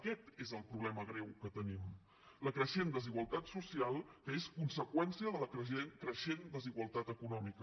aquest és el problema greu que tenim la creixent desigualtat social que és conseqüència de la creixent desigualtat econòmica